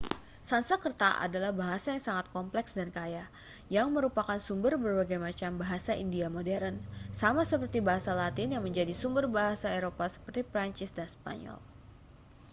sanskerta adalah bahasa yang sangat kompleks dan kaya yang merupakan sumber berbagai macam bahasa india modern sama seperti bahasa latin yang menjadi sumber bahasa eropa seperti prancis dan spanyol